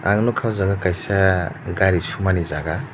ang nogka o jaga kaisa gari sumani jaga.